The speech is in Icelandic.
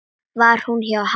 Var hún hjá Halla?